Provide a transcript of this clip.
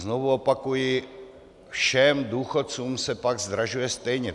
Znovu opakuji, všem důchodcům se pak zdražuje stejně.